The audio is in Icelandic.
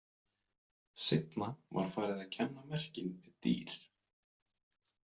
Seinna var farið að kenna merkin við dýr.